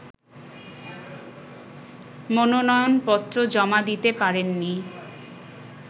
মনোনয়নপত্র জমা দিতে পারেননি